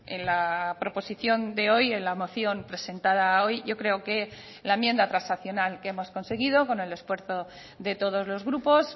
en la proposición de hoy en la moción presentada hoy yo creo que la enmienda transaccional que hemos conseguido con el esfuerzo de todos los grupos